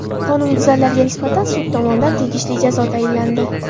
Qonunbuzarlarga nisbatan sud tomonidan tegishli jazo tayinlandi.